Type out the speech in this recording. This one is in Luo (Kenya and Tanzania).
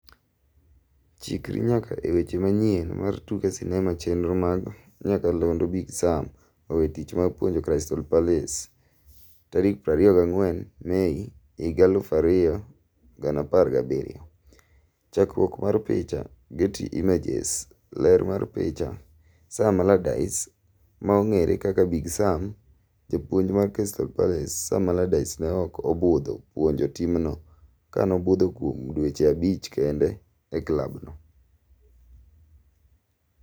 Chikri nyaka e weche manyien mar tuke sinema chenro mag nyakalondo Big Sam owe tich mar puojo Crystal Palace 24 Mei 2017. chakruok mar picha, Getty Images, Ler mar picha, Sam Allardyce maong'ere kaka Big Sam, japuonj mar Crystal Palace, Sam Allardyce ne ok obudho puonjo timno kanobudho kuom dweche abich kende e klabno.